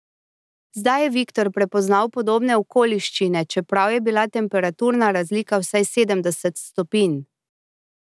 Zdaj je Viktor prepoznal podobne okoliščine, čeprav je bila temperaturna razlika vsaj sedemdeset stopinj.